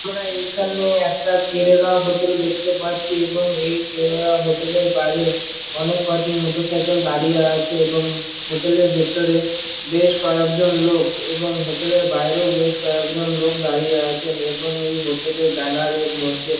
আমরা এইখানে একটা কেরেলা হোটেল দেখতে পারছি। এবং কেলের হোটেল -এর বাহিরে বেশ কয়েকটি মোটরসাইকেল দাঁড়িয়ে আছে। এবং হোটেল -এর ভিতরে এবং হোটেল - এর বাহিরে বেশ কয়েকটি লোক দাঁড়িয়ে আছে। এবং এই হোটেল -এর ব্যানার -এর মর্ধে।